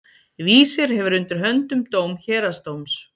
Vísir hefur undir höndum dóm héraðsdóms.